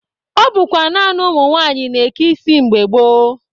Ọ bụkwa naanị ụmụ nwaanyị na-eke isi mgbe gboo.